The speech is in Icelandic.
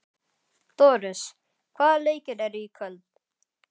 Doris, hvaða leikir eru í kvöld?